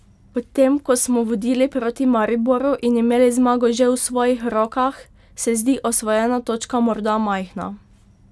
Po tem, ko smo vodili proti Mariboru in imeli zmago že v svojih rokah, se zdi osvojena točka morda majhna.